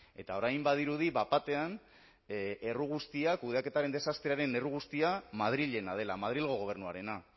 eta orain badirudi bat batean erru guztia kudeaketaren desastrearen erru guztia madrilena dela madrilgo gobernuarena